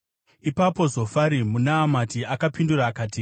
Ipapo Zofari muNaamati akapindura akati: